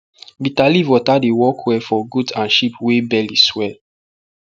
bitter leaf water dey work well for goat and sheep wey belly swell